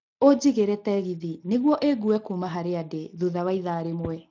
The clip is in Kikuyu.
Ũnjigĩre tegithĨ nĩguo ĩngue kuuma harĩa ndĩ thutha wa ithaa rĩmwe